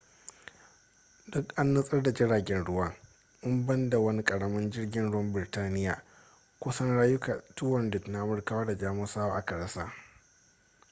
duk an nutsar da jiragen ruwan in ban da wani ƙaramin jirgin ruwan birtaniya kusan rayuka 200 na amurkawa da jamusawa aka rasa